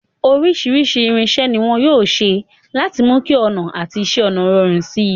Oríṣìíríṣìí irinṣẹ́ ni wọn yóò ṣe láti mú kí ọnà àti iṣẹ́ ọnà rọrùn si.